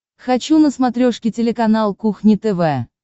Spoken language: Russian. хочу на смотрешке телеканал кухня тв